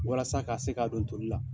Walasa ka se k'a don toli la.